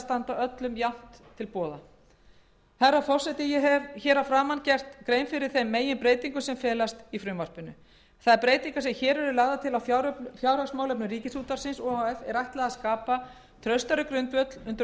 standa öllum jafnt til boða ég hef hér að framan gert grein fyrir þeim meginbreytingum sem felast í frumvarpinu þær breytingar sem hér eru lagðar til á fjárhagsmálefnum ríkisútvarpsins o h f er ætlað að skapa traustari grundvöll undir